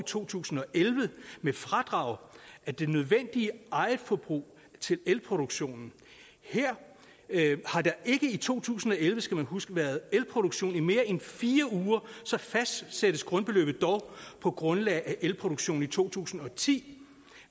to tusind og elleve med fradrag af det nødvendige egetforbrug til elproduktionen har der ikke i to tusind og elleve det skal man huske været elproduktion i mere end fire uger fastsættes grundbeløbet på grundlag af elproduktionen i to tusind og ti